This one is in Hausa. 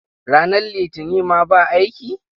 Ranar Litinin ma ba aiki?